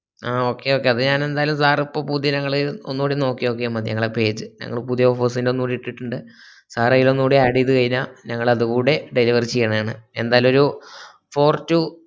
ആഹ് okay okay അത് ഞാൻ ന്റാലു sir ഇപ്പൊ പുതിയനങ്ങൾ ഒന്നൂടി നോക്കിയാ മതി ഞങ്ങളെ page ഞങ്ങൾ പുതിയ offers എല്ലോ ഒന്നൂടി ഇട്ടിട്ടിണ്ട് sir ഒന്നൂടി അതേല്ലോ add ചെയ്ത് കൈഞ്ഞാൽ ഞങ്ങൾ അതൂടി deliver ചെയ്യന്നെ ആണ് ന്റാലു ഒരു four to